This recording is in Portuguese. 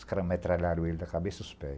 Os caras metralharam ele da cabeça aos pés.